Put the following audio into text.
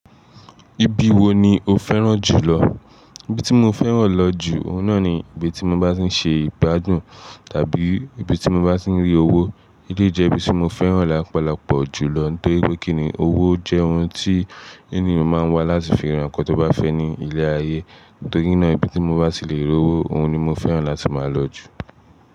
Ibi wo ni o fẹ́ràn jùlọ? Ibi tí mo fẹ́ràn lọ jù, oun náà ni ibi tí mo bá ti ń ṣe ìgbádùn tàbí ibi tí mo bá ti ń rí owó. Eléyìí jẹ́ ibi tí mo fẹ́ràn lọpọlọpọ̀ jùlọ, torí pé kíni owó jẹ́ ohun tí eniyàn máa ń wá láti fi ra nǹkan tó bá fẹ́ ní ile ayé. Torí náà, ibi tí mo bá ti lè rí owó, ohún ni mo fẹ́ràn láti máa lọ jù.